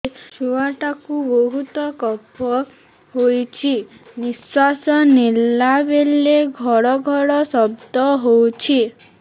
ଛୁଆ ଟା କୁ ବହୁତ କଫ ହୋଇଛି ନିଶ୍ୱାସ ନେଲା ବେଳେ ଘଡ ଘଡ ଶବ୍ଦ ହଉଛି